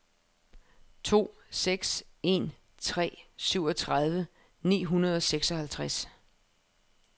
to seks en tre syvogtredive ni hundrede og seksoghalvtreds